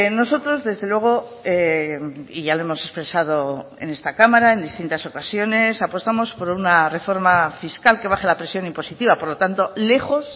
nosotros desde luego y ya lo hemos expresado en esta cámara en distintas ocasiones apostamos por una reforma fiscal que baje la presión impositiva por lo tanto lejos